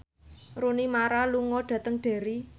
Rooney Mara lunga dhateng Derry